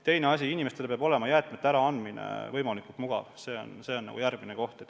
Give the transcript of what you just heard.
Teine asi, jäätmete äraandmine peab olema võimalikult mugav – see on järgmine koht.